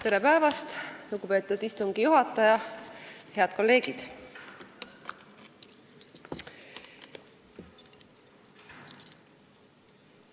Tere päevast, lugupeetud istungi juhataja ja head kolleegid!